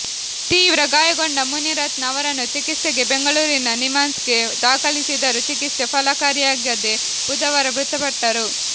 ತೀವ್ರ ಗಾಯಗೊಂಡ ಮುನಿರತ್ನ ಅವರನ್ನು ಚಿಕಿತ್ಸೆಗೆ ಬೆಂಗಳೂರಿನ ನಿಮ್ಹಾನ್ಸ್ಗೆ ದಾಖಲಿಸಿದರು ಚಿಕಿತ್ಸೆ ಫಲಕಾರಿಯಾಗದೆ ಬುಧವಾರ ಮೃತಪಟ್ಟರು